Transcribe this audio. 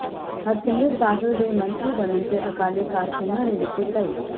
ਹਰਸਿਮਰਤ ਬਾਦਲ ਦੇ ਮੰਤਰੀ ਬਨਣ ਤੇ ਅਕਾਲੀ ਕਾਰਕੂੰਨਾਂ ਨੇ ਦਿੱਤੀ ਵਧਾਈ